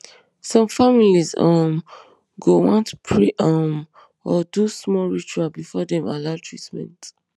some families um go want pray um or do small ritual before dem allow treatment